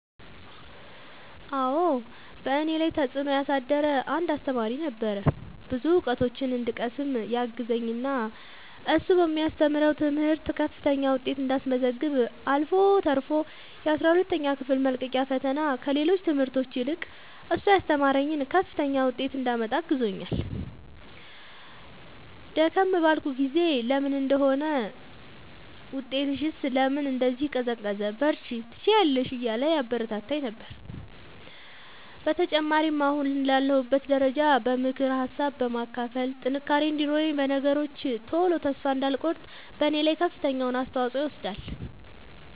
አዎ በእኔ ላይ ተፅእኖ ያሳደረ አንድ አሰተማሪ ነበረ። ብዙ እውቀቶችን እንድቀስም ያገዘኝ እና እሱ በሚያስተምረው ትምህርት ከፍተኛ ውጤት እንዳስመዘግብ አልፎ ተርፎ የአስራ ሁለተኛ ክፍል መልቀቂያ ፈተና ከሌሎች ትምህርቶች ይልቅ እሱ ያስተማረኝን ከፍተኛ ውጤት እንዳመጣ አግዞኛል። ደከም ባልኩ ጊዜ ለምን እንዲህ ሆነ ውጤትሽስ ለምን እንዲህ ቀዘቀዘ በርቺ ትችያለሽ እያለ ያበረታታኝ ነበረ። በተጨማሪም አሁን ላለሁበት ደረጃ በምክር ሀሳብ በማካፈል ጥንካሬ እንዲኖረኝ በነገሮች ቶሎ ተስፋ እንዳልቆርጥ በኔ ላይ ከፍተኛውን አስተዋፅኦ ይወስዳል።